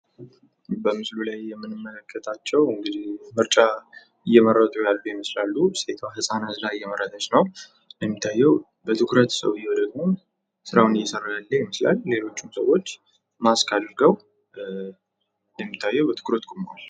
በምስሉ ላይ የምንመለከታቸው እንግዲህ ምርጫ እየመረጡ ያሉ ይመስላሉ ሴቷ ህፃን አዝላ እየመረጠች ነው እንደሚታየው በትኩረት ሰውዬው ደግሞ ስራውን እየሰራ ያለ ይመስላል ። ሌሎችም ሰዎች ማስክ አድርገው በትኩረት ቁመዋል ።